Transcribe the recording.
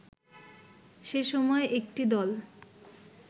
সে সময় একটি দল